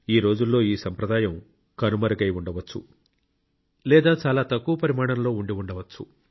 ఈరోజుల్లో ఈ సంప్రదాయం కనుమరుగై ఉండవచ్చు లేదా చాలా తక్కువ పరిమాణంలో ఉండి ఉండవచ్చు